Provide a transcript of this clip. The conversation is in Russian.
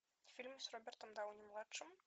фильмы с робертом дауни младшим